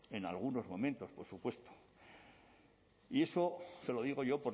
en algunos momentos por supuesto y eso se lo digo yo